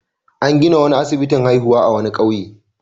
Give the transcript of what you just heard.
An gina wani asibitin haihuwa a wani ƙauye.